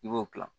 I b'o kila